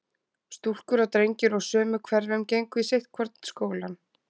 stúlkur og drengir úr sömu hverfum gengu í sitt hvorn skólann.